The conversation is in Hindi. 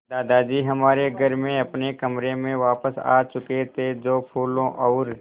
दादाजी हमारे घर में अपने कमरे में वापस आ चुके थे जो फूलों और